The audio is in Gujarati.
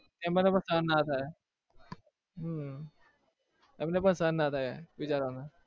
એમને પણ સહન ના થાય હમ એમને પણ સહન ના થાય બિચારાને